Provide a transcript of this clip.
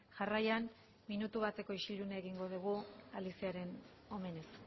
jarraian minutu bateko isilduna egingo dugu aliciaren omenez